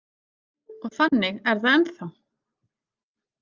Og þannig er það ennþá.